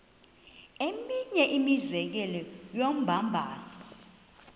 eminye imizekelo yombabazo